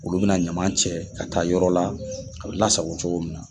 Olu bɛna ɲama cɛ ka taa yɔrɔ la ko lasago cogo min na.